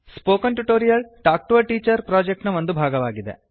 spoken tutorial talk to a teacher project ನ ಒಂದು ಭಾಗವಾಗಿದೆ